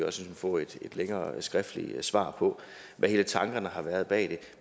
også få et længere skriftligt svar på hvad tankerne har været bag det